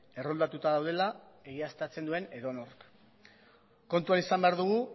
erroldatuta daudela egiaztatzen duen edonork kontuan izan behar dugu